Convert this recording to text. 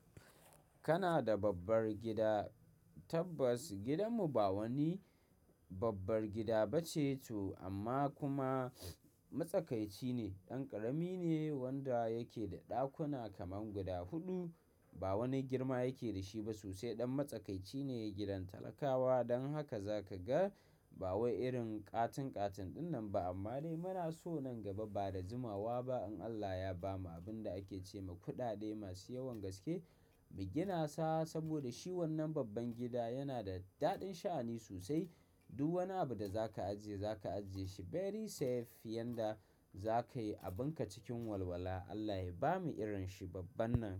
Kana da babbar gida? Tabbas gidanmu ba wani babbar gida ba ce to amma kuma matsakaici ne. Ɗan ƙarami ne wanda yake da ɗakuna kaman guda huɗu. Ba wani girma yake da shi ba sosai ɗan matsakaici ne gidan talakawa. Don haka za ka ga ba wai irin ƙatin-ƙatin dunnan ba. Amma dai muna so nan gaba ba da jimawa ba in Allah ya bamu abin da ake ce ma kuɗaɗe masu yawan gaske mu gina sa. Saboda shi wannan babban gida yana da daɗin sha'ani sosai. Duk wani abu da za ka ajiye, za ka ajiye shi very safe. Yanda za ka yi abinka cikin walwala. Allah ya bamu irin shi babban nan.